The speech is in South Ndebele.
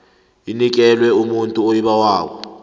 inikelwe umuntu oyibawako